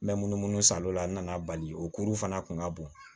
N bɛ munumunu salon la n nana bali o kuru fana kun ka bon